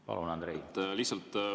Palun, Andrei!